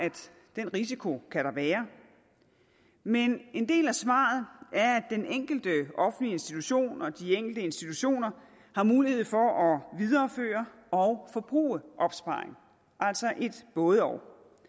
den risiko kan der være men en del af svaret er at den enkelte offentlige institution og de enkelte institutioner har mulighed for at videreføre og forbruge opsparing altså et både og